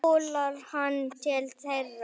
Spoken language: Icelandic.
Svo hjólar hann til þeirra.